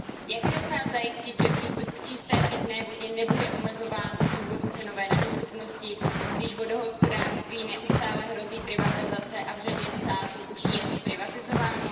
Jak chce stát zajistit, že přístup k čisté pitné vodě nebude omezován z důvodu cenové nedostupnosti, když vodohospodářství neustále hrozí privatizace a v řadě států už je zprivatizováno?